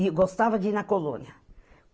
E gostava de ir na colônia.